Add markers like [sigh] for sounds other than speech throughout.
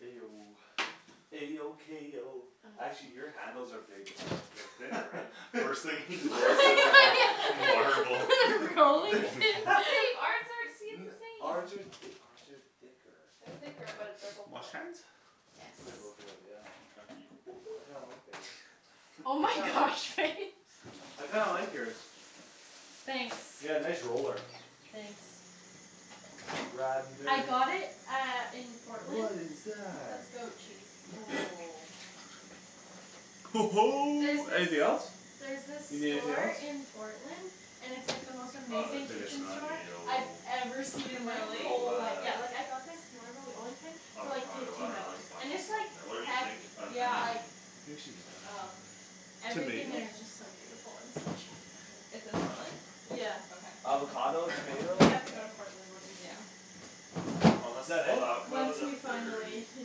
A O A O K O actually [noise] your handles are bigg- uh they're thinner, right? [laughs] First thing he notices is the marble [laughs] [laughs] Rolling rolling pin? pin. [laughs] But babe, our [inaudible] the [laughs] same! Ours are th- ours are thicker. They're Think our thicker but they're both Wash wood. hands? Yes. They're both wood, yeah. I kinda [noise] like theirs. Oh I my kind of gosh, Faye. [laughs] I kinda like yours. Thanks. Yeah, nice roller. Thanks. Ridin' I dirty. got it uh in What Portland. is That's that? goat cheese. [noise] There's Anything this else? There's this You need anything store else? in Portland And it's like the most Oh, amazing there's, I like, guess kitchen not. store I've tomato ever seen in my Really? whole Arugula life. Yeah, like, I got this marble rolling pin For like Avocado, I fifteen dunno, there's dollars, a and bunch of it's, stuff like, in there. Whatever you think hefty. Uh an Yeah. Like onion. I think she's all right over [noise] there. Everything Tomato? there is just so beautiful and so cheap. [noise] It's in Portland? Yeah. Okay, I'm gonna Avocado? go find Tomato? Yeah. We that then. have to No. go to Portland one Yeah. weekend. Is Unless, that oh, the it? avocado's Once up we there finally, already. you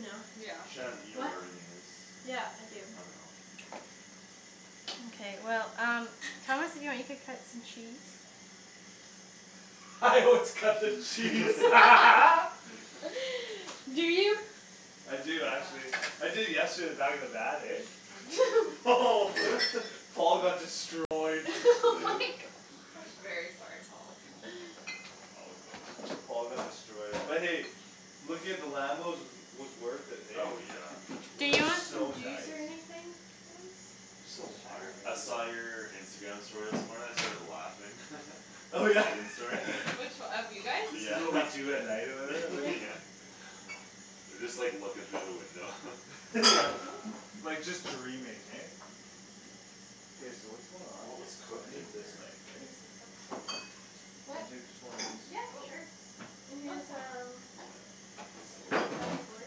know. Yeah. Shan, you know What? where everything is. Yeah, I do. I dunno. Mkay, well, um Thomas if you want you could cut some cheese. [laughs] Let's cut the cheese. [laughs] [laughs] [laughs] [noise] Do you? I do actually. Yeah. I did yesterday in the back of the van, eh? [laughs] [laughs] Paul got [laughs] destroyed. [laughs] My [noise] gosh. I'm very sorry, Paul. All good. Paul got destroyed but hey, looking at the Lambos was, was worth it, hey? Oh, yeah. Do Those are you want some so juice nice. or anything, guys? Just some water Sure. I maybe. saw your Instagram story this morning; I started laughing. [laughs] The Megan story. [laughs] [laughs] Which o- of you guys? This is Yeah, what we [laughs] do at night or whatever? Oh Yeah. yeah. [laughs] [laughs] You're just, like, looking through the window. [laughs] Yeah, Oop like, just dreaming, hey? K, so what's going on What here? was So I cooked in need this here? knife, right? Can What? I take just one of these? Yep, Oh. sure. And Oh, it's here's fine there. um Yeah. Slowly. Here's a cutting board.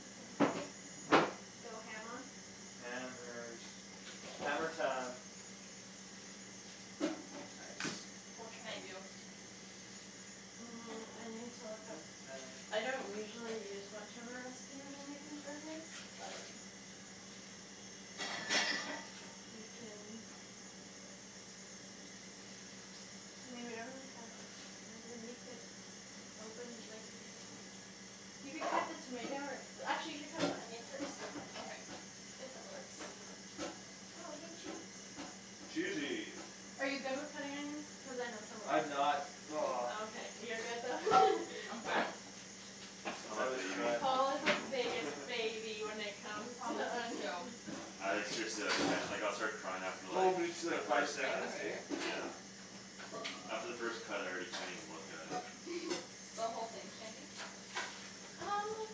You can go ham on. Hammers. Hammer time. Nice. What can I do? Mm, I need to look up Hammer time. I don't usually use much of a recipe when I'm making burgers, but You can I mean, we don't really have a ton [noise] of them. You could Open, like, you can You could cut the tomato or Actually, you should cut the onion first. Okay. If that works. Oh, hey, cheese. Cheesy! Are you good with cutting onions? Cuz I know some of us I'm aren't not. He's Oh, [noise] not. okay. You're good though. [laughs] I'm fine. I'm I a always baby. cry. Paul is the biggest [laughs] baby when it comes Thomas to is onions. too. [laughs] I, like, seriously I can't. Like I'll start crying after, Oh like, me too, the like We're five first just gonna cut. cut seconds, right hey? here? Yeah. Yep. After the first cut I already can't even look at it. [laughs] The whole thing, Shandy? Um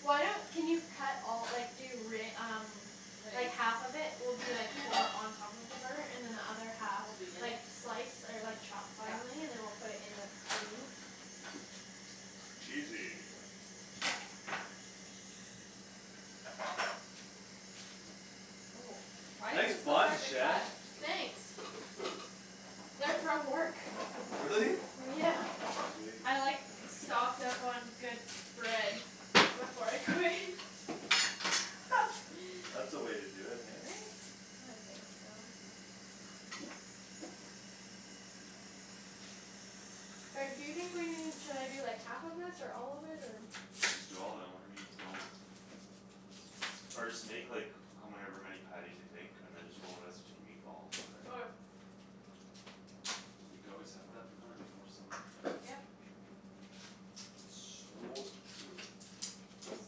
Why don't, can you cut all, like, do re- um Like, [inaudible] half of it will be, like, for on top of the burger and then the other half Will be in Like, it? slice or, like, chop Yeah. Finely and then we'll put it in the, the meat. Cheesy. Oh, why is Nice this so buns, hard to Shan. cut? Thanks. They're from work. Really? Yeah. Sweet. I, like, stocked up on good bread Before I quit. [laughs] [laughs] That's the way to do it, [laughs] hey? Right? I think so. Reb, do you think we need, should I do, like, half of this or all of it or I'm just doing all of it and whatever we don't Or just make, like, however many patties you think and then just roll the rest into meatballs or Okay. whatever. You could always have that for another meal somewhere. Yep. [noise] So true. It's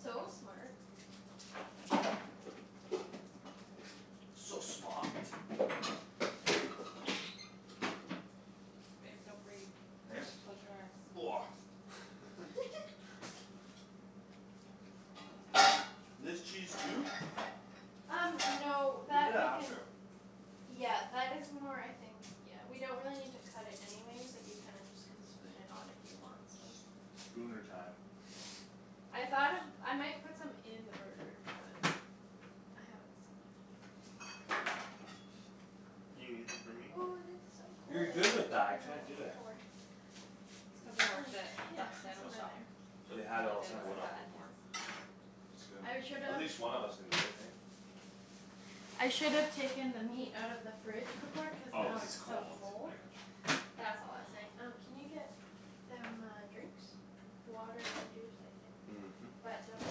so smart. So smaht. Babe, don't breathe. Close your eyes. [noise] [laughs] [laughs] Do I do this cheese too? Um no We'll do that that we can after. Yeah, that is more, I think Yeah, we don't really need to cut it anyways. Like, you kinda just Can spoon it on if you want some. Spooner time. I thought of, I might put some in the burger but I haven't decided. You gonna leave some for me? Ooh, this is so cold. You're I good should've with that, I taken that can't out do it. before. Did It's you cuz I bring them? My, worked at yeah, that it's Oh. sandwich over shop. there. They And had it all all I [noise] the did time, Take was what eh? cut off of where? onions. It's good. I should've At least one of us can do it, hey? I should've taken the meat out of the fridge before cuz Oh, now cuz it's it's so cold, cold. I got you. That's all I was saying. Um can you get Them uh drinks? Water and juice, I think, Mhm. but double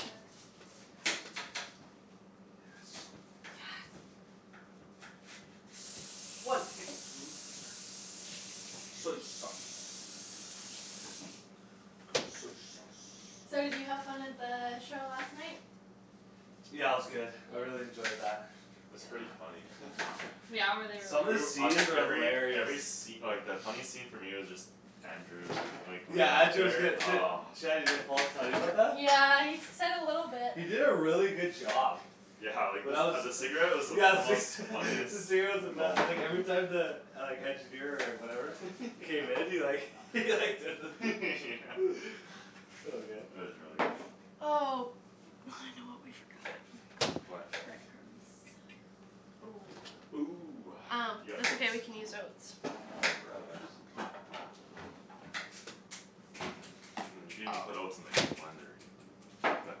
check. Yes. Yes. One tablespoon Soy sauce. Soy sauce. So did you have fun at the show last night? Yeah, it was good. I Yeah? really enjoyed that. It's Yep. pretty funny. [laughs] Yeah? Were they really Some of the good? [noise] I scenes think are every, every hilarious. sce- like, the funny scene for me was just Andrew and, like, Yeah, Andrew was whenever good. [inaudible] D- oh. Shanny, did Paul tell you about that? Yeah, he s- said a little bit. He did a really good job. Yeah, like, the When I was, s- uh yeah [laughs] the the cigarette cigarette was the most funniest was the moment best, like every time the Like engineer or whatever K, then he like [laughs] he like did the [laughs] [noise] So good. It was really good. Oh, I know what we forgot. What? Bread crumbs. Oh. Ooh, Um, you got that's okay oats? we can use oats. Oh, real That works. oats. Mm, you could even put Oh oats in, like, the blender even but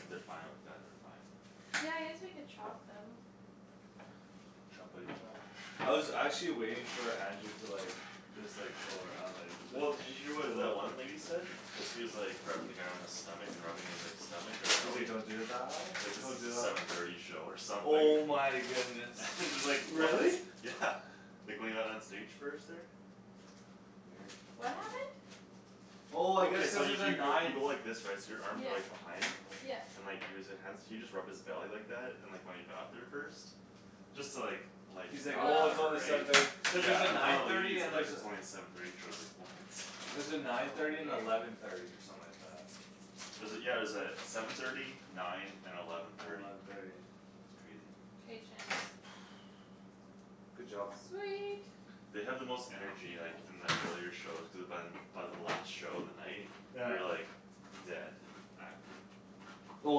if they're fine like that, they're fine. Yeah, I guess we could chop them. Choppity chop. I was actually waiting for Andrew to like Just like, go around, like Well, did you hear what the one [inaudible] lady said? Cuz he was, like, rubbing the guy on his stomach and rubbing his, like, stomach or He's like belly don't do the thigh? Like this Don't is do the the seven thirty show or something. Oh my goodness. [laughs] Just like, what? Really? Yeah, like when he got on stage first there. Weird. What happened? Oh I guess Okay, so cuz you there's a y- y- you nine go like this, right? So your arms are like Yeah. behind? Yeah. And like he was li- hands he just rubbed his belly like that and when he got up there first Just to, like, lighten the He's like, crowd or "Oh, Oh it's whatever, only right? seven thirty." Cuz there's a Yeah, and one of nine the thirty ladies and is like, there's a it's only seven thirty, she was like, "What?" There's a nine Oh thirty and weird. eleven thirty or something like that. Was it, yeah, it was uh seven thirty nine and eleven And thirty. eleven thirty. It's crazy. Patience. [noise] Good job. Sweet. They have the most energy, like, in the earlier shows cuz by By the last show of the night Yeah. you're, like Dead, acting. Oh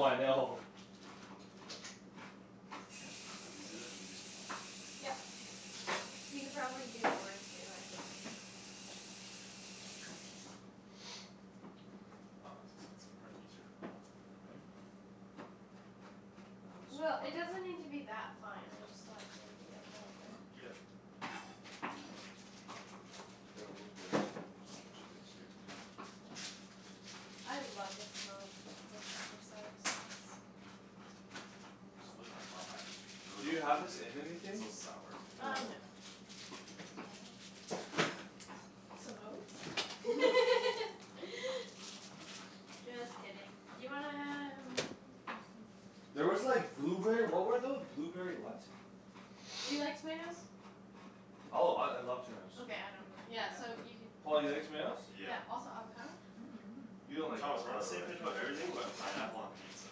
I know. Let me do that and you can do something else? Yep. You could probably do more too, I just Aw, I was gonna say it's probably easier in a blender, [noise] right? A little It'll Well, get smaller? it smaller? doesn't need to be that fine, I just thought maybe a little bit. Yep. The Here I'll oat move bag's the oats coming somewhere else onto you'll my have more space space here. here. I love the smell of worcestershire sauce. So [inaudible] I Do really you don't like have this it. in It's anything? so sour. No, Um no. right? Oh. Some oats? [laughs] [laughs] Just kidding. Do you wanna um [noise] There was like Do you blueberry, what were know? tho- blueberry what? Do you like tomatoes? Oh, I, I love tomatoes. Okay, I don't. Yeah, No, I so don't. you could Paul, you like tomatoes? Yeah. Yeah, also avocado? [noise] You don't like Thomas we're on the avocado, same Or, page right? about everything ooh, that's but so pineapple hard. on pizza.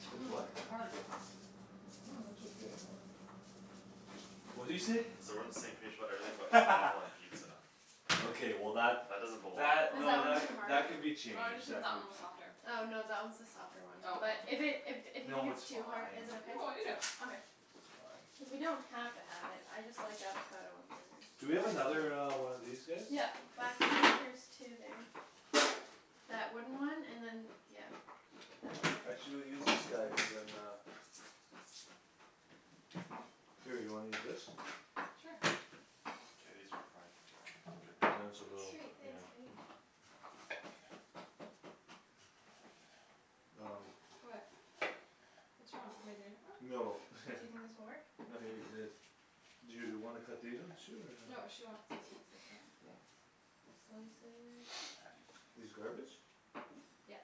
T- oh With my gosh. what? Hard. No, it's okay. Really? What'd you say? Said we're on the same page about everything but pineapple on [laughs] pizza. Okay, well, that, That doesn't belong that, Is on that no, one that it. too c- hard? that could be Oh, I just changed think that that could be one was softer. Oh, no, that one's the softer one, Oh, but okay. If it, if d- if you think No, it's it's too hard, fine. is it okay? No, I'll eat it. Okay. It's fine. Cuz we don't have to have it. I just like avocado on burgers. Do we I do have another too. uh one of these guys? Yeah. Back there there's two there. That wooden one and then that d- yeah, that one there. Actually we'll use this guy cuz then uh Here, you wanna use this? Sure. K, these are probably good I'm doing so enough little. Sweet, ish. Yeah. thanks, babe. Um What? What's wrong? Am I doing it wrong? No Do you think this [laughs] will work? No, he already did Mhm. his. Do you wanna cut these ones too or no? No, she wants these ones like that. Oh. Slice it. These garbage? Yes.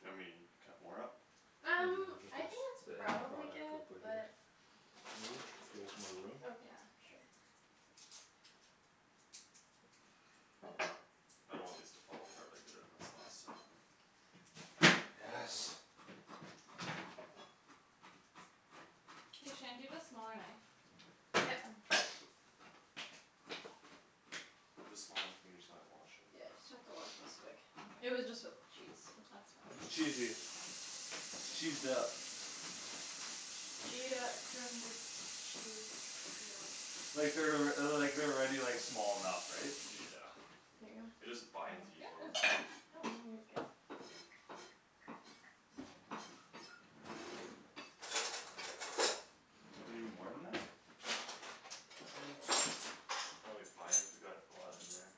You want me to cut more up? I'm Um, gonna put I this, think that's the end probably product good we'll put here. but Can you I'll do move? a little bit Give more. us more room? Yeah. Okay, sure. I don't want these to fall apart like they did on us last time. Yes. Hey, Shan, do you have a smaller knife? Yep. There's a small one here, you just gonna wash it? Yeah, just have to wash this quick. It Mkay. was just with [noise] cheese, so. That's It's fine. cheesy. It's cheesed up. Gee it up from the Chee Like they're alrea- uh the, like, they're already like, small enough, right? Yeah. Here you go. It just binds easier. [noise] No, no, you're good. You need more than that? [noise] Probably fine cuz we got a lot in there.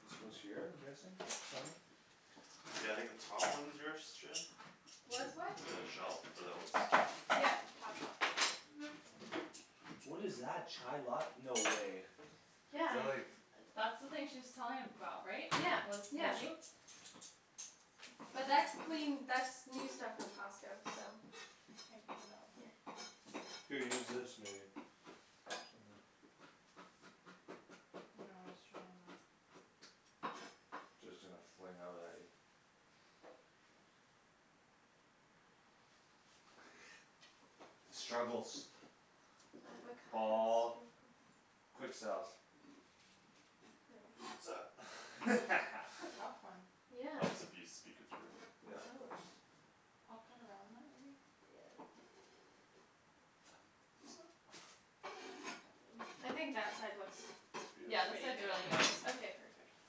This goes here? I'm guessing? Somewhere? Yeah, I think the top one's yours, Shan? What's what? The shelf for the oats? Yep. Top shelf. What is that? Chai lat- no way. They're Yeah like That's the thing she was telling about, right? Yeah, That was yeah. Which moldy? But [noise] that's clean, that's new stuff from Costco, so. I can't get it out. Here. Here, use this maybe. Or something. No, I was trying that. Just gonna fling out at you. [noise] The struggles. Avocado Paul. struggles. Quick selves. [laughs] [laughs] That's a tough one. Yeah. Helps if you speak it through. Yeah, of Oh, course. I'll cut around that maybe. Yeah. [noise] Okay. I think that side looks It's Yeah, beautiful. this pretty side's good really good. anyways. Okay, perfect.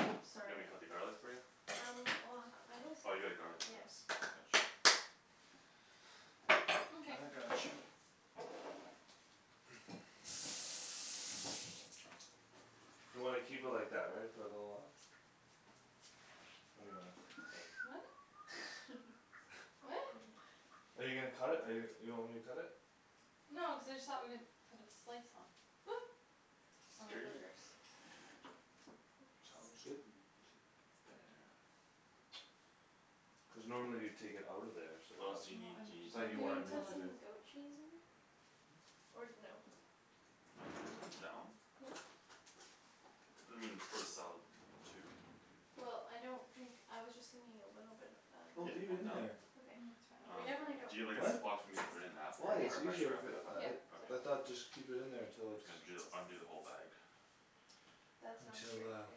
Oops, You sorry. want me to cut the garlic for you? Um well, I was, Oh, you got a garlic yeah. press. Gotcha. Mkay. I got you. You wanna keep it like that, right? For a little while? Or do you wanna cut it? What? [laughs] I [laughs] What? dunno. Are you gonna cut it? Or you, you want me to cut it? No, I just thought we could put this slice on. Oop. On our Scare you? Hey burgers. I Tom guess. is good. T- [inaudible] Cuz normally you'd take it out of there so I What else thought, Well, do you need, do I'm you I need, just thought telling like Do you you you wanna wanted to me put kill to it. [inaudible] do some goat cheese in there? Or no? I'm down. I mean, it's for the salad too. Well, I don't think, I was just thinking a little bit of that. Oh, Yep, leave it I'm in down. there. I Okay. mean, it's fine We I'll Um, definitely don't just do it. do you have, like, a What? Ziploc for me to put it in after? Why? Or It's how do you easier wrap if Yep. it it up uh after? it Yep. Okay. I So cool. thought just keep it in there I'm until just it's gonna ju the, undo the whole bag. That sounds Until great, uh babe.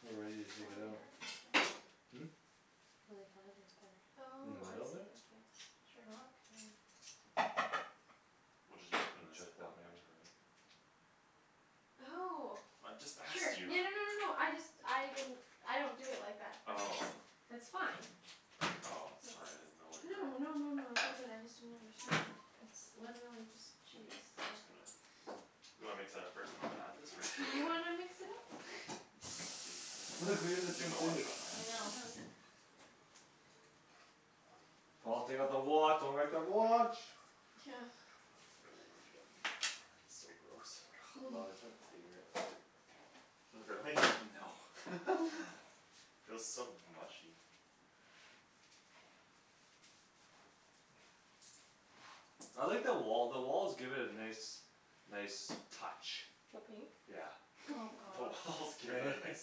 We're ready to It's really take it hard out. right there. Hmm? It's really hard right there. In the Oh, I middle see, there? okay, sure. Okay. We'll, just use it from And the chuck Ziploc that maybe. after, right? Oh I just sure, asked you. [laughs] yeah, no no no no, I just, I didn't I don't do it like that but it's Oh. That's fine. Oh, sorry I didn't know It's what no your no no no no, it's all good. I just didn't understand; it's literally just K, cheese, I'm so. just gonna. You wanna mix that up first then I'll add this or just Do right you away? wanna [laughs] mix it up? [laughs] [noise] Babe, have to take my Look, watch, we do can the you take same my too. watch off? My I hands know. are Oh, yeah. dirty. Paul, take off the wa- don't wreck the watch. [noise] Oh, yummy. So gross. Love i- [noise] it's my favorite part. Really? No. [laughs] [laughs] Feels so mushy. I like the wall, the walls give it a nice Nice touch. The pink? Yeah. Oh [laughs] [laughs] The gosh. walls give it a nice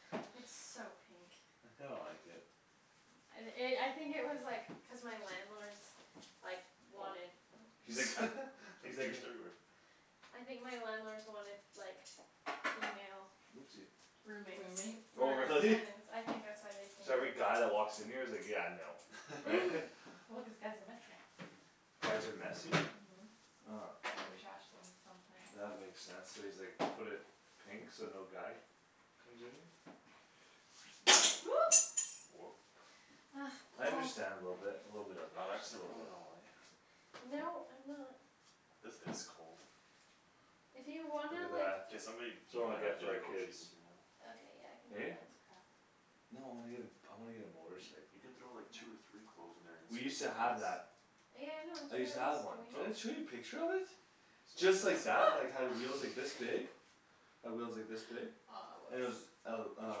touch. It's so pink. I kinda like it. And i- I think it was, like, cuz my landlords Like, Oh. wanted, oh He's like [laughs] [noise] He's He's like a juiced everywhere. I think my landlords wanted, like, female Oopsie Roommates. Roommate? Oh Or really? tenants. I think that's why they painted So every it guy that pink. walks in here is like, "Yeah, no." Right? [laughs] [laughs] [laughs] Well, cuz guys are messy. Guys are messy? Mhm, and they trash [noise] things sometimes. That makes sense; so he's, like, put it Pink? So no guy comes in here? Oop. Whoop. Ugh, I Paul. understand a little bit, a little bit of Not it, just a accident little prone at bit. all, eh? No, I'm not. This is cold. If you Look wanna, at like that. K, somebody, you Someone might get have it to for do the our goat kids. cheese in here though. Okay, yeah, I can do Eh? that. No, I wanna get a, I wanna get a Y- motorcycle. you can throw, like, No. two or three cloves in there and We used squeeze That's to at [inaudible] have once. that. Yeah, I know, it's I what I used to was have one. doing. Did Oh. I show you a picture of it? Sorry, Just didn't like see. that, [noise] like, had wheels, like, this big. [laughs] Had wheels like this No. Aw, big. And it was oops. el- We should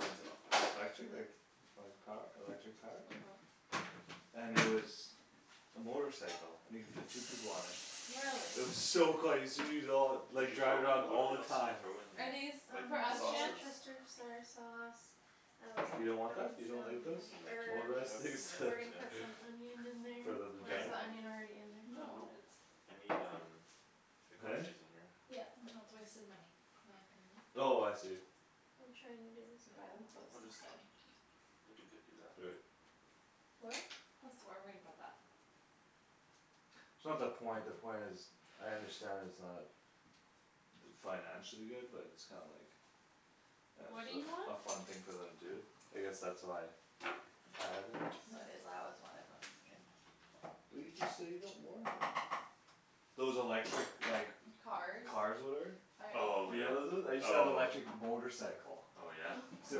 rinse it off, like, - right now. lectric? Okay Like, like, power, electric powered? Mhm. And it was a motorcycle and you could fit two people on it. Really? It was so cool I used to use it all, Did like, you throw, drive it around what all did, the else did you time. throw in Are here? these Like for Um us, the Shan? sausage worcestershire sauce. I was You gonna don't want put that? in You don't like those? some You mean like herbs. Motorized ketchup things and [laughs] We're herbs, gonna yeah. put some onion in For there them to or is drive? the onion already in there? Uh, No, nope, it's I need um The goat Huh? cheese in here. Yeah. No, it's a waste of money, Anthony. Oh I see. I'm trying to do this You buy them garlic. clothes We'll just instead. We could dip you that. Do it. What? This, where are we gonna put that? It's not the point; the point is I understand it's not d- Financially good but it's kinda like Uh What do you just want? a f- a fun thing for them to do. I guess that's why I had one. No, it is, I always wanted one as a kid. But you just said you don't want it. Those electric, like Cars. Cars whatever? I Oh, alw- You yeah, know those ones? I used to have oh. electric motorcycle. Oh, yeah? [laughs] Used to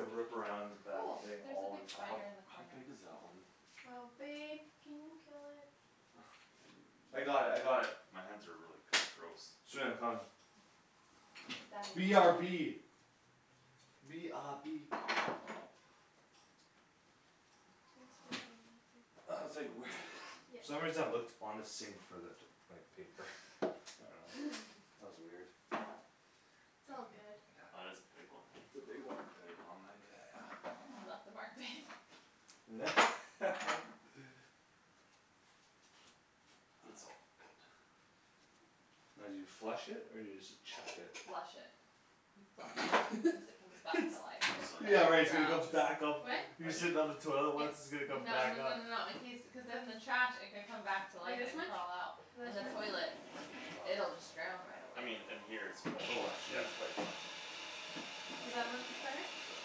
rip around that Oh, thing there's a all big the How, time. spider in the how corner. big is that one? Oh babe, can you kill it? I got it. I got it. [noise] My hands are really kinda gross. Sweet, I'm coming. The daddy B R long B. legs. B R B. Thanks for doing that, babe. I I, was like, I "Where" need the goat cheese in [laughs] there Yep. For some soon. reason I looked on the sink for that, like, paper. I dunno. [laughs] [laughs] That was weird. - t's [noise] I all good. That got. is a big one, It's eh? a big one. Daddy long leg. Yeah, yeah. You left a mark, babe. [laughs] It's all good. Now do you flush it or do you just chuck it? Flush it. You flush. [laughs] Cuz it comes back It's, to life if So like onion in left yeah, like it's gonna there, come drowned. too? back up. What? You're Onion? sitting on the toilet Yes. what's, it's gonna come No no back no up. no no, in case, cuz then the trash, it could come back to Like life this and much? crawl out. Is In that the too much? toilet Oh, that's a lot. it'll just drown right I away. mean in here it's probably Oh fi- yeah, shoot. it's probably fine. Is that much better? Sure.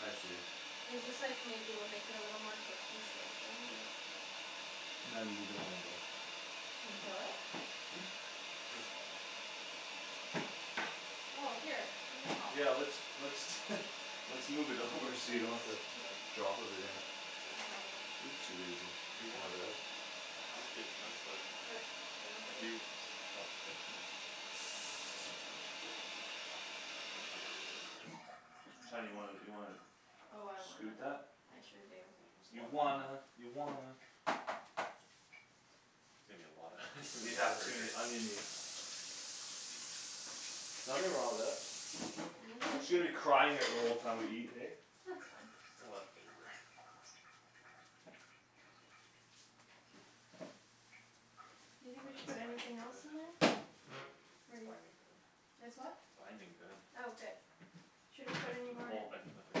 I see. It's just, like, maybe we'll make it a little more cohesive, right? Yep. [inaudible] Can we kill it? Hmm? It's fine. Oh, here, let me help. Yeah, let's, let's [laughs] Let's move it Should over these, so are you don't these have to too big? drop Should everything. I slice 'em a little more? Oopsie daisy. If you That's my want. bad. I'm okay with chunks but Okay, then let's If do you, chunks. oh, k. Chunky. Shan, you wanna, you wanna Oh, I scoot wanna. that? I sure do. That's a You lotta onion. wanna, you wanna There's gonna be a lotta onion in these Yeah, it's gonna be burgers. [laughs] onion-y. Nothing wrong with that. She's Hands are gonna be good. crying at the whole time we eat, hey? That's fine. A lotta flavor. Do you Oh, think we should that's put binding anything else in there? good. It's Pretty. binding good. It's what? Binding good. Oh, good. Should I put Like, any the more whole, I can put, like, the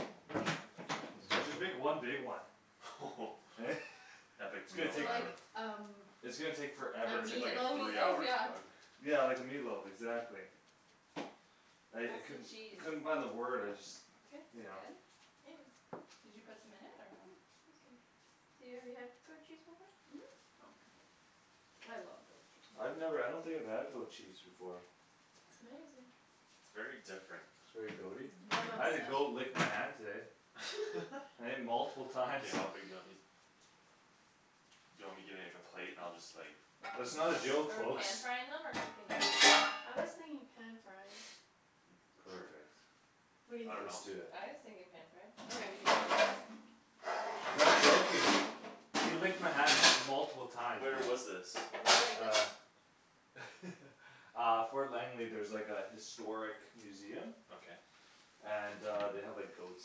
whole chunk of tomatoes. Just make one big one. [laughs] [laughs] Epic It's gonna Meal So take for- Time. like um It's gonna take A forever It's to like, like Like the a meatloaf? meat three loaf, hour yeah. cook. Yeah, like a meatloaf, exactly. I, I How's the couldn't, cheese? couldn't find the word. I just Good. Is You it know. good? Yeah. Did you put some in it Yeah, or no? awesome. So you have, you had goat cheese before? Mhm. Okay. I love goat cheese. I've never, I don't think I've had goat cheese before. It's amazing. It's very different. It's very goat- y? I'm I had a goat obsessed. lick my hand today. [laughs] [laughs] Hey? Multiple times. K, how big do you want these? Do you want me to give you, like, a plate and I'll just like That's not a joke, Are we pan folks. frying them or cooking them? I was thinking pan frying. [noise] Sure. Perfect. What do you I Let's dunno. think? do it. I was thinking pan fry. That's how we Okay. do ours. Not joking. He licked my hand m- multiple times. Where was this? I really like this. Uh [laughs] Uh Fort Langley, there's, like, a historic museum Okay. And uh they have, like, goats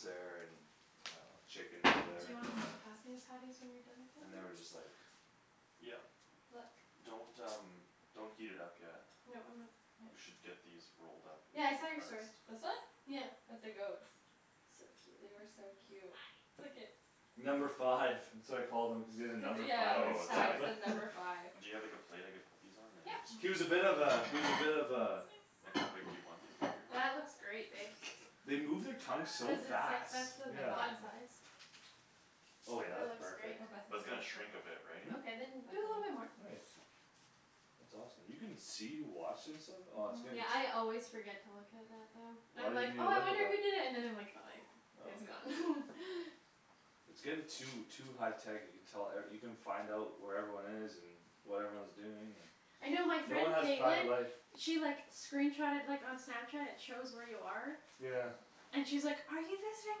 there and And uh chickens, Do whatever. you wanna just pass me the patties when you're done with And the they were just, rest? like Yep. Look. Don't, um, don't heat it up yet. No, I'm not. [noise] We should get these rolled up in Yeah, there I saw your story. first. This one? Yeah. With the goats. So They cute. are so cute. Look at Number five. That's what I call them. Cuz he has a Cuz, yeah, number five yeah, on his Oh, his tag tag? tablet. said [laughs] number five. Do you have, like, a plate I could put these on and then Yep. this He was a bit of goes a, he was a bit of a Like how big do you want these, bigger? That looks great, babe. They move their tongue so Cuz it's, like, fast, that's the I'm yeah. not bun size. Oh yeah, That that's looks great. perfect. Oh, Bethany That's gonna watched it. shrink a bit, right? Hmm? Okay, then do a little bit more. Bethany. Nice. That's awesome. You can see, wash and stuff? Oh it's gonna Yeah, I always forget to look at that though. Why I'm like, didn't you "Oh I look at wonder who that? did it." And then I like "Oh I- it's Oh gone." [laughs] It's getting too, too high tech you can tell, er, you can find out where everyone is and What everyone's doing I and know my no one friend has private Caitlin life. She, like, screenshotted like on Snapchat; it shows where you are Yeah. And she's like, "Are you visiting